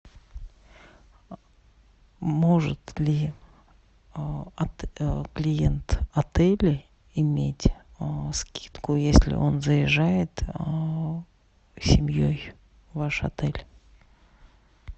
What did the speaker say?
может ли клиент отеля иметь скидку если он заезжает с семьей в ваш отель